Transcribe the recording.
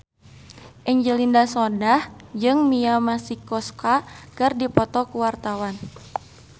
Angelina Sondakh jeung Mia Masikowska keur dipoto ku wartawan